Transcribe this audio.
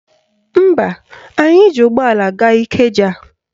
Mba, anyị ji ụgbọala gaa Ikeja